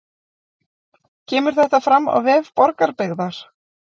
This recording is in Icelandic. Kemur þetta fram á vef Borgarbyggðar